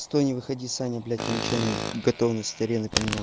стой не выходи саня блять я нечаянно готовность арены поменял